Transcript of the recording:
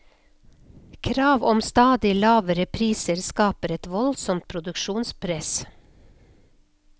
Krav om stadig lavere priser skaper et voldsomt produksjonspress.